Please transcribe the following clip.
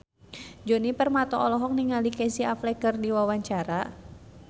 Djoni Permato olohok ningali Casey Affleck keur diwawancara